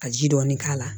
Ka ji dɔɔni k'a la